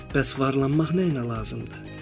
Bəs varlanmaq mənə nəyə lazımdır?